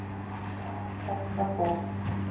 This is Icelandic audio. Tæpt var það.